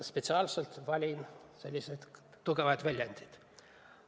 Ma spetsiaalselt valin selliseid tugevaid väljendeid.